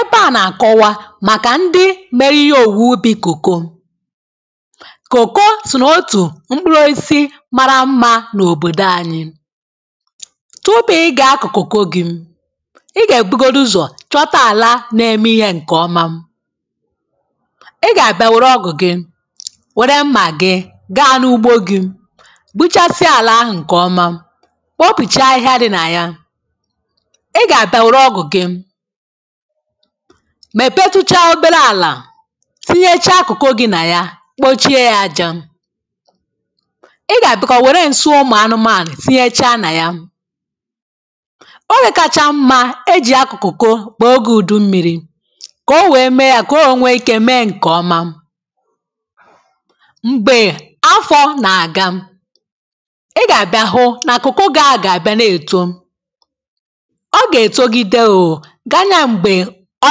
Ebe à nàkọwa màkà ndị mere ihe òwùù ubi kòko. Kòko sònaụ̀tụ̀ mkpụrụisi mara mmȧ n’òbòdò anyị. Tụpụ ị gà-akọ̀ kòko gị, ị gà-èbugodu ụzọ̀ chọta àla na-eme ihe ǹkè ọma. Ị gà-àbịa nwère ọgụ̀ gị, wère mmà gị gaa n’ugbo gị gbuchasịa àlà ahụ̀ ǹkè ọma, kpọpìchaa ihe a dị nà ya. Ị gà-àbịa nwère ọgụ̀ gị mèpetuchaa obere àlà tinyechaa kụ̀kụ̀ gị nà ya kpochie ya ajȧ. Ị gà-àbịa kà ò wère ǹsị ụmụ̀ anụmanụ̀ tinyechaa nà ya. Ogè kàchàà mmá ejì akụ koko bụ ogè ùdú mmiri kà o wee mee yà, kà o wee nwéé ike méé nkè ọma. Mgbè afọ nà-àga, ị gà-àbịa hụ nà kụkọ ga a gà-àbịa nà èto. O gà-étógidé ooo, ganye mgbè ọ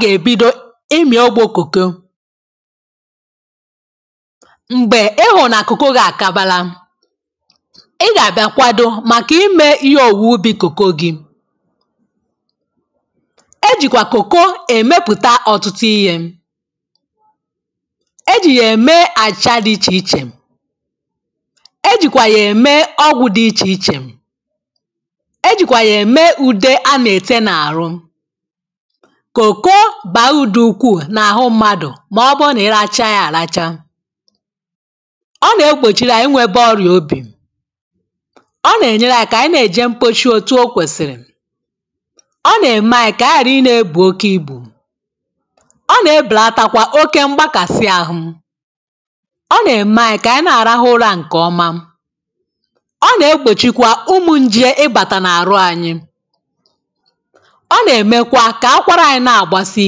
gà-ébidó ịmị ogbò koko. Mgbè ịhụ̀nà kòko gị àkabala ị gà-àbịa kwado màkà imė ihe òwùwè ubì kòko gị. E jìkwà kòko èmepùta ọ̀tụtụ iyė; E jì yà ème àịchà dị ichè ichè, e jìkwà yà ème ọgwụ̀ dị ichè ichè. e jìkwà yà ème ùde a nà-ete n’àhụ. Kòko bà udù ukwuù n’àhụ mmadụ̀ màọbụrụ nà iracha yȧ àracha. Ọ nà-egbòchiri anyi nwėbė ọrịà obì, Ọ nà-ènyere anyi kà ànyi na-èje mposhi otu o kwèsìrì, Ọ nà-ème anyi kà ànyi ghàra i nȧ-ebù oke ibù, Ọ nà-ebùlatakwa oke mgbakàsị ahụ̇, Ọ nà-ème anyi kà ànyi na-àrahụ ụrȧ ǹkè ọma, Ọ nà-egbòchikwa ụmụ̇ njì e gbàtà n’àrụ ànyị. Ọ nà- emékwá kà akwara anyi̇ na-àgbasi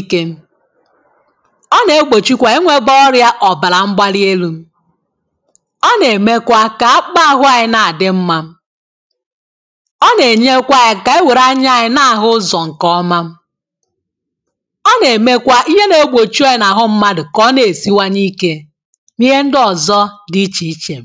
ikė, Ọ nà-egbòchi kwà iwėbė ọrịȧ ọ̀bàrà mgbali elu̇, Ọ nà-èmekwa kà akpụkpụ ahụ̇ anyị na-àdị mmȧ. Ọ nà-ènyekwa anyi kà e wère anya anyi na-àhụ ụzọ̀ ǹkèọma, L nà-èmekwa ihe na-egbòchi oyi̇ nà-àhụ mmadụ̀ kà ọ na-èsiwanye ikė n’ihe ndị ọ̀zọ dị ichèichè.